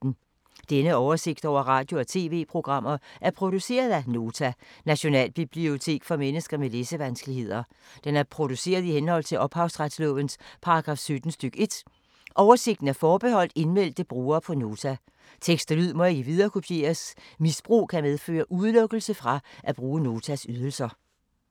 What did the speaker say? Denne oversigt over radio og TV-programmer er produceret af Nota, Nationalbibliotek for mennesker med læsevanskeligheder. Den er produceret i henhold til ophavsretslovens paragraf 17 stk. 1. Oversigten er forbeholdt indmeldte brugere på Nota. Tekst og lyd må ikke viderekopieres. Misbrug kan medføre udelukkelse fra at bruge Notas ydelser.